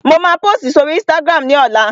Mo máa pósìtì si oríi ísítágírámù ní ọlá